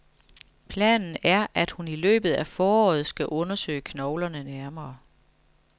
Planen er, at hun i løbet af foråret skal undersøge knoglerne nærmere.